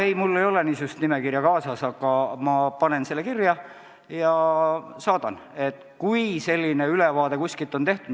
Jah, mul ei ole niisugust nimekirja kaasas, aga ma panen selle kirja ja saadan teile, kui selline ülevaade on tehtud.